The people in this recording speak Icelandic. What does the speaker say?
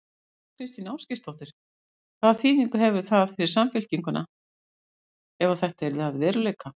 Þóra Kristín Ásgeirsdóttir: Hvaða þýðingu hefði það fyrir Samfylkinguna ef að þetta yrði að veruleika?